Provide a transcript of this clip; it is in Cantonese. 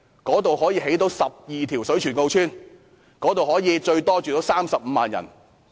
該處可以興建12條水泉澳邨，最多容納35萬人。